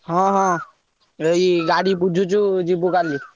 ହଁ ହଁ ଏଇ ଗାଡି ବୁଝୁଛୁ ଯିବୁ କାଲି।